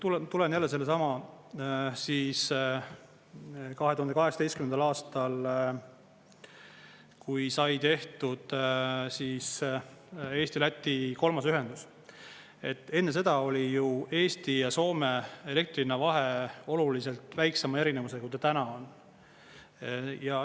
Kui ma tulen jälle sellesama 2018. aasta, kui sai tehtud Eesti-Läti kolmas ühendus, et enne seda oli ju Eesti ja Soome elektri hinna vahe oluliselt väiksema erinevusega, kui ta täna on.